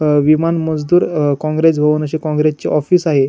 अ विमान मजदुर अ कोंग्रेस भवन अशे कोंग्रेसचे ऑफिस आहे.